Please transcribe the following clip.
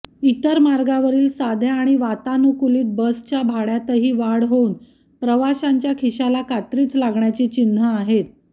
इतर मार्गावरील साध्या आणि वातानुकूलित बसच्या भाड्यातही वाढ होऊन प्रवाशांच्या खिशाला कात्रीच लागण्याची चिन्हं आहेत